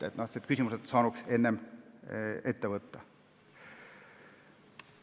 Need küsimused oleks saanud varem ette võtta.